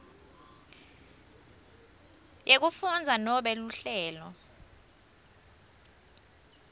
yekufundza nobe luhlelo